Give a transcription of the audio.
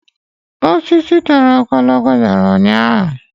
Osisi toro ogologo dara ụnyaahụ.